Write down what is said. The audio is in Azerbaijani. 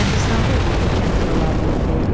Kəndistanda olurdu, kənd toylarında oxuyurdu.